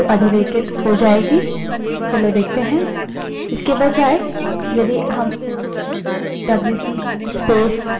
चलो देखते हैं